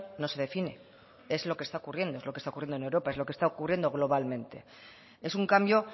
no se define es lo que está ocurriendo es lo que está ocurriendo en europa es lo que está ocurriendo globalmente es un cambio